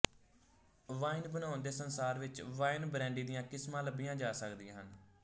wine ਬਣਾਉਣ ਦੇ ਸੰਸਾਰ ਵਿੱਚ ਵਾਈਨ ਬ੍ਰੈਂਡੀ ਦੀਆਂ ਕਿਸਮਾਂ ਲੱਭੀਆਂ ਜਾ ਸਕਦੀਆਂ ਹਨ